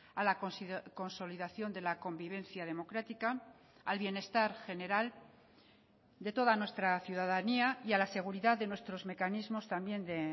a la consolidación de la convivencia democrática al bienestar general de toda nuestra ciudadanía y a la seguridad de nuestros mecanismos también de